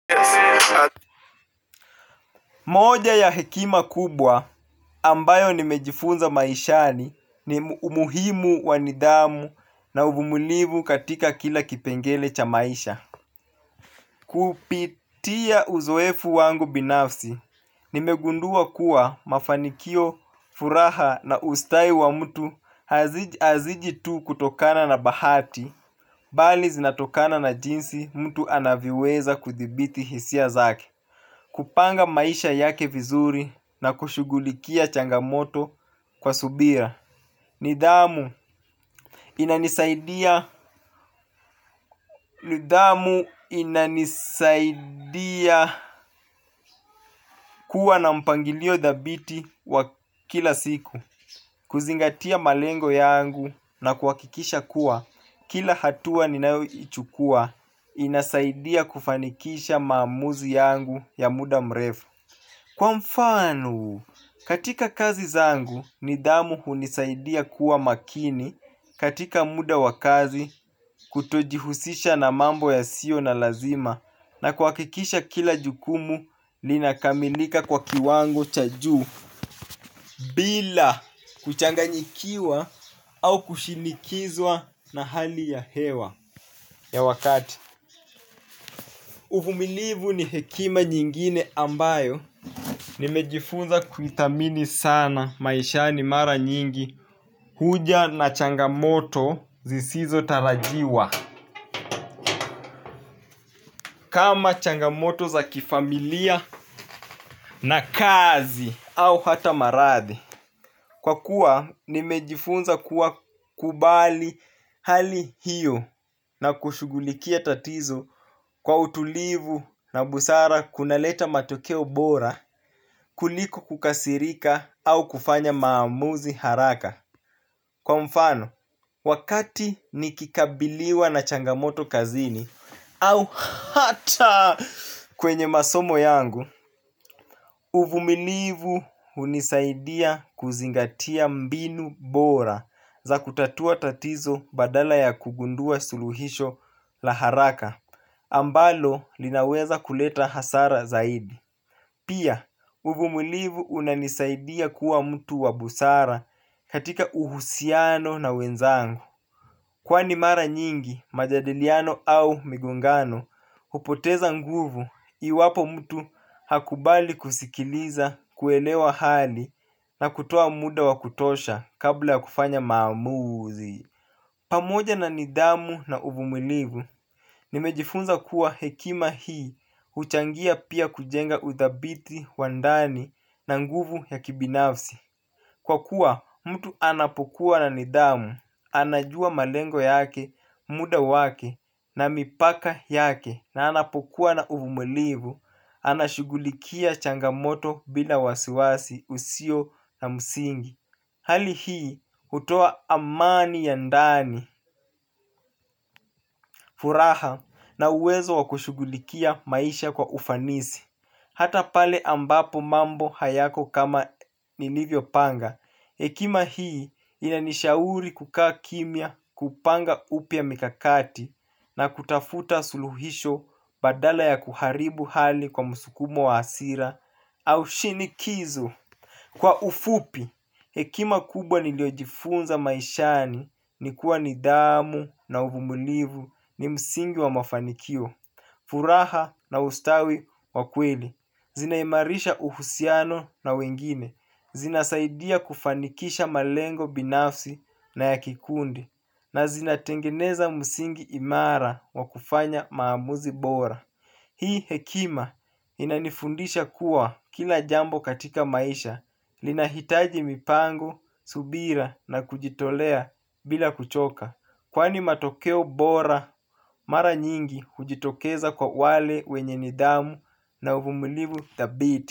Moja ya hekima kubwa ambayo nimejifunza maishani ni umuhimu wa nidhamu na uvumilivu katika kila kipengele cha maisha. Kupitia uzoefu wangu binafsi, nimegundua kuwa mafanikio furaha na ustahi wa mtu haziji tu kutokana na bahati, bali zinatokana na jinsi mtu anavyoweza kuthibiti hisia zake. Kupanga maisha yake vizuri na kushugulikia changamoto kwa subira. Nidhamu inanisaidia kuwa na mpangilio dhabiti wa kila siku. Kuzingatia malengo yangu na kuhakikisha kuwa kila hatua ninayoichukua inasaidia kufanikisha maamuzi yangu ya muda mrefu. Kwa mfano, katika kazi zangu nidhamu hunisaidia kuwa makini katika muda wa kazi kutojihusisha na mambo yasiyo na lazima na kuhakikisha kila jukumu linakamilika kwa kiwango cha juu bila kuchanganyikiwa au kushinikizwa na hali ya hewa ya wakati. Uvumilivu ni hekima nyingine ambayo nimejifunza kuithamini sana maishani mara nyingi huja na changamoto zisizotarajiwa kama changamoto za kifamilia na kazi au hata maradhi. Kwa kuwa nimejifunza kuwa kubali hali hiyo na kushugulikia tatizo kwa utulivu na busara kunaleta matokeo bora kuliko kukasirika au kufanya maamuzi haraka. Kwa mfano, wakati nikikabiliwa na changamoto kazini, au hata kwenye masomo yangu, uvumilivu hunisaidia kuzingatia mbinu bora za kutatua tatizo badala ya kugundua suluhisho la haraka, ambalo linaweza kuleta hasara zaidi. Pia, uvumulivu unanisaidia kuwa mtu wa busara katika uhusiano na wenzangu. Kwani mara nyingi, majadiliano au migongano, hupoteza nguvu iwapo mtu hakubali kusikiliza kuelewa hali na kutoa muda wa kutosha kabla kufanya maamuzi. Pamoja na nidhamu na uvumulivu, nimejifunza kuwa hekima hii huchangia pia kujenga uthabiti wa ndani na nguvu ya kibinafsi. Kwa kuwa mtu anapokuwa na nidhamu, anajua malengo yake, muda wake na mipaka yake na anapokuwa na uvumulivu, anashugulikia changamoto bila wasiwasi usio na msingi. Hali hii hutoa amani ya ndani, furaha na uwezo wa kushughulikia maisha kwa ufanisi. Hata pale ambapo mambo hayako kama nilivyopanga hekima hii inanishauri kukaa kimya kupanga upya mikakati na kutafuta suluhisho badala ya kuharibu hali kwa msukumo wa hasira au shinikizo. Kwa ufupi, hekima kubwa niliojifunza maishani ni kuwa nidhamu na uvumilivu ni msingi wa mafanikio, furaha na ustawi wa kweli. Zinaimarisha uhusiano na wengine. Zinasaidia kufanikisha malengo binafsi na ya kikundi. Na zinatengeneza msingi imara wa kufanya maamuzi bora. Hii hekima inanifundisha kuwa kila jambo katika maisha linahitaji mipango, subira na kujitolea bila kuchoka. Kwani matokeo bora, mara nyingi hujitokeza kwa wale wenye nidhamu na uvumulivu thabiti.